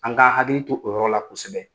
An k'an hakili to o yɔrɔ la kosɛbɛ.